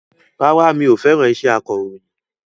Rárá mi ò fẹ́ràn iṣẹ́ akọ̀rọ̀yìn